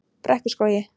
Brekkuskógi